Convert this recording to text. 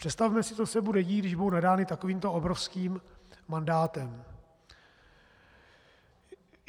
Představme si, co se bude dít, když budou nadány takovýmto obrovským mandátem.